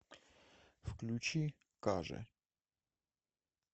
включи кажэ